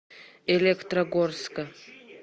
электрогорска